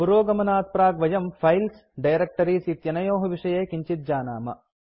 पुरोगमनात्प्राक् वयं files directories इत्यनयोः विषये किञ्चित् जानाम